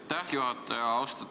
Aitäh, juhataja!